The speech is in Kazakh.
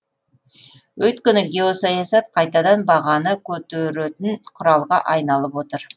өйткені геосаясат қайтадан бағаны көтеретін құралға айналып отыр